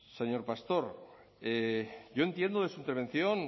señor pastor yo entiendo de su intervención